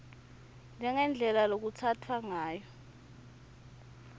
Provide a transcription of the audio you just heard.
njengendlela lekutsatfwa ngayo